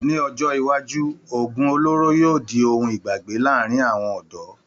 Ní ọjọ́ iwájú, oògùn olóró yóò di ohun ìgbàgbé láàárín àwọn ọ̀dọ́